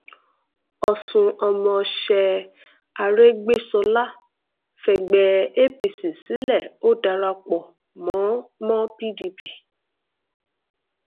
ọsun ọmọọṣẹ arégbèsọlá fẹgbẹ apc sílẹ ò darapọ mọ mọ pdp